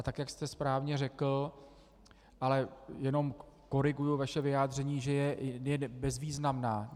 A tak jak jste správně řekl - ale jenom koriguji vaše vyjádření, že je bezvýznamná.